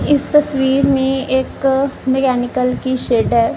इस तस्वीर में एक अ मेकैनिकल की शेड है।